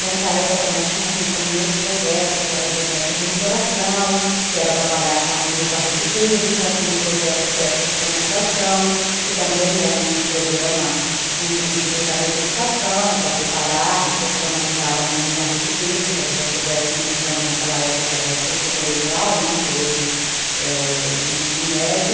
Nessa época, nós tínhamos também outros projetos, que era o projeto monitoração, que era trabalhar com alunos da rede pública, tinha o projeto pré-profissionalização, que também era um programa junto com a Secretaria de Educação, para preparar e profissionalizar alunos da rede pública, que já estivessem cursando naquela época, era o curso colegial, né, que hoje é o ensino médio.